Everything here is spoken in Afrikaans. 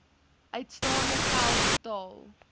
uitstaande geld betaal